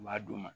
U b'a d'u ma